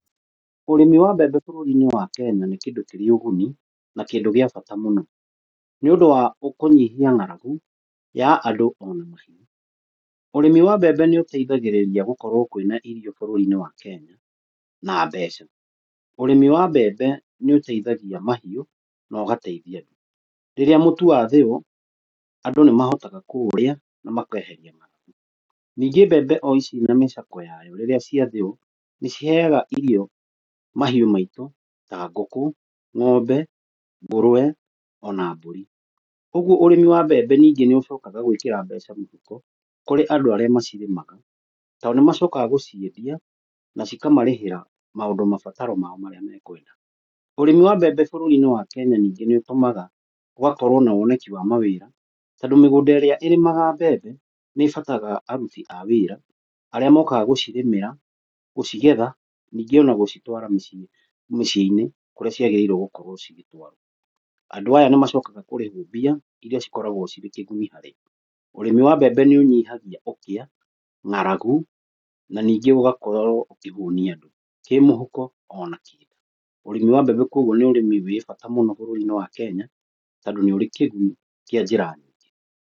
Ũrĩmi wa mbembe bũrũri-inĩ wa Kenya nĩ kĩndũ kĩrĩ ũguni na kĩndũ gĩa bata mũno nĩ ũndũ wa kũnyihia ng'aragu ya andũ ona mahiũ. Ũrĩmi wa mbembe nĩ ũteithagĩrĩria gũkorwo kũrĩ na irio bũrũri-inĩ wa Kenya na mbeca. Ũrĩmi wa mbembe nĩ ũteithagia mahiũ na ũgateithia andũ, rĩrĩa mũtu wathĩo andũ nĩ mahotaga kũũrĩa na makendia. Ningĩ mbembe na mĩcakwe rĩrĩa ciathĩo nĩ ciheaga irio mahiũ maitũ na ngũkũ ng'ombe, ngũrũwe ona mbũri. Ũguo ũrĩmi wa mbembe ningĩ nĩ ũcokaga gwĩkĩra mbeca mũhuko kũrĩ andũ arĩa macirĩmaga, tondũ nĩ macokaga gũciendia na cikamarihĩra mabataro mao marĩa mekwenda. Ũrĩmi wa mbembe bũrũri-inĩ wa Kenya ningĩ nĩ ũtũmaga gũgakorwo na woneki wa mawĩra, tondũ mĩgũnda ĩrĩa ĩrĩmagwo ya mbembe nĩ ĩbataraga aruti a wĩra, arĩa mokaga gũcirĩmĩra gũcigetha ona ningĩ gũcitwara mĩciĩ-inĩ kũrĩa ciagiriire gũkorwo cirĩ kuo. Andũ aya nĩ macokaga kũrĩhwo mbia iria cikoragwo cirĩ kĩguni harĩo, ũrĩmi wa mbembe nĩ ũnyihagia ũkĩa, ng'aragu na ningĩ ũgakorwo ũkĩhũnia andũ kĩ mũhuko ona kĩ mwĩrĩ. Ũrĩmi wa mbembe koguo nĩ ũrĩmi wĩ bata mũno bũrũri-inĩ wa Kenya, tondũ nĩ ũrĩ kĩguni kĩa njĩra...